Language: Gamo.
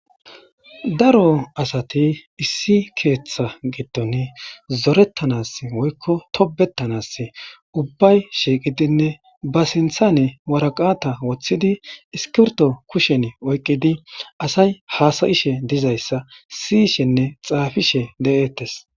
Daro asati issi keeththa giddon zoretanaasi woyko tobbetanasi ubbay shiiqidinne ba sinthani waraqata wothidi iskirto kusheni oykidi asay haasa'ishe dizaysa si'ishenne xaafishe de'etees.